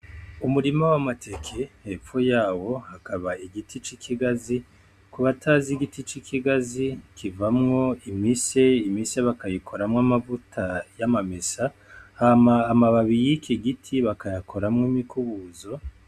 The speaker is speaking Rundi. Umurima w'amateke. Hepfo yawo hakaba hari igiti c'ikigazi. Ku batazi igiti c'ikigazi, kivamwo imise; Imise bakayioramwoamavuta y'amamesa, hama amababi y'igiti bakayakoramwo imikubuzo.